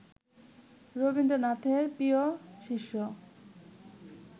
রবীন্দ্রনাথের প্রিয় শিষ্য